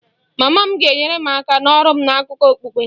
Mama m ga-enyere m aka n'ọrụ m na akụkọ okpukpe